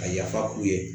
A yafa u ye